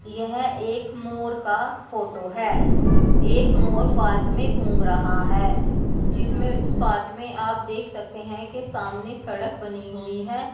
यह एक मोर का फोटो है। एक मोर पार्क में घूम रहा है जिसमे पार्क में आप देख सकते हैं की सामने सड़क बनी हुई है।